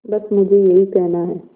बस मुझे यही कहना है